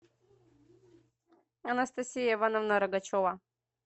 анастасия ивановна рогачева